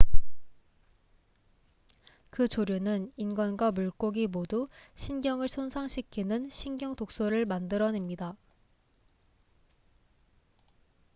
그 조류는 인간과 물고기 모두 신경을 손상시키는 신경독소를 만들어냅니다